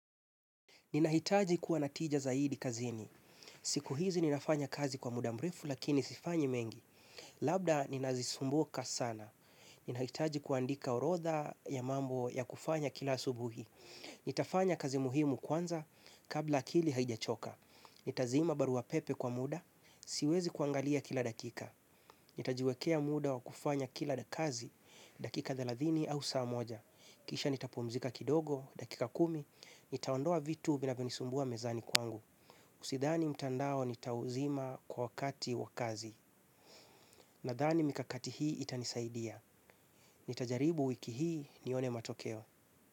Ninahitaji kuwa na tija zaidi kazini. Siku hizi ninafanya kazi kwa muda mrefu lakini sifanyi mengi. Labda ninazisumbuka sana. Ninahitaji kuandika orodha ya mambo ya kufanya kila asubuhi. Nitafanya kazi muhimu kwanza kabla akili haijachoka. Nitazima barua pepe kwa muda, siwezi kuangalia kila dakika. Nitajiwekea muda wa kufanya kila kazi, dakika thelathini au saa moja. Kisha nitapumzika kidogo, dakika kumi, nitaondoa vitu vinavyonisumbua mezani kwangu Usidhani mtandao nitauzima kwa wakati wakazi. Nadhani mikakati hii itanisaidia. Nitajaribu wiki hii nione matokeo.